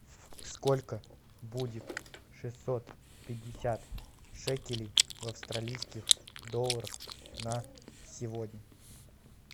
сколько будет шестьсот пятьдесят шекелей в австралийских долларах на сегодня